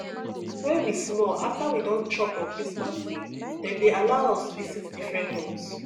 when we small after we don chop on christmas day dem dey allow us visit different homes